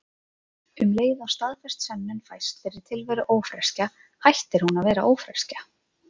Um leið og staðfest sönnun fæst fyrir tilveru ófreskju hættir hún að vera ófreskja.